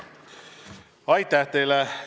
Aitäh teile!